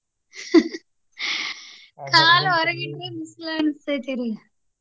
ಕಾಲ್ ಹೊರಗ್ ಇಟ್ರ ಬಿಸಿಲ್ ಅನಸ್ತೆತ್ರಿ.